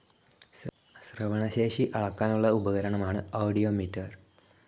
ശ്രവണശേഷി അളക്കാനുള്ള ഉപകരണമാണ് ആദിയോമീറ്റർ.